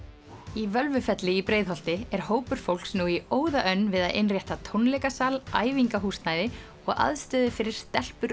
í Völvufelli í Breiðholti er hópur fólks nú í óðaönn við að innrétta tónleikasal æfingahúsnæði og aðstöðu fyrir stelpur